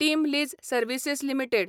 team Lease Services limited